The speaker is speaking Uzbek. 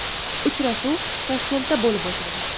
Uchrashuv Toshkentda bo‘lib o‘tadi.